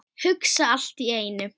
Hugsa allt í einu.